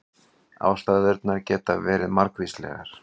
Ástæðurnar geta verið margvíslegar